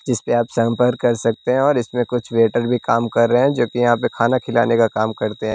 जिस पे आप संपर्क कर सकते हैं और इसमें कुछ वेटर भी काम कर रहे हैं जो कि यहां पे खाना खिलाने का काम करते हैं।